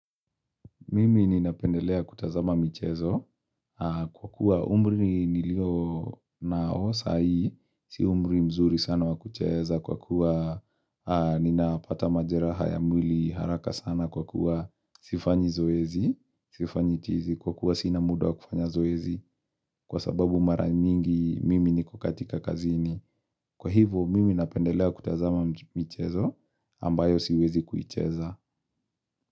Mimi ninapendelea kutazama michezo kwa kuwa umri nilio nao saa hii, si umri mzuri sana wakucheza kwa kuwa ninapata majeraha ya mwili haraka sana kwa kuwa sifanyi zoezi, sifanyi tizi kwa kuwa sina muda wakufanya zoezi kwa sababu mara mingi mimi niko katika kazini. Kwa hivo mimi ninapendelea kutazama mchezo ambayo siwezi kuicheza.